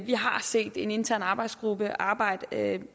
vi har set en intern arbejdsgruppe arbejde